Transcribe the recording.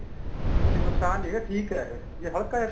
ਕੀ ਨੁਕਸਾਨ ਨੀ ਹੈਗਾ ਠੀਕ ਏ ਇਹ ਜੇ ਹਲਕਾ ਜਾ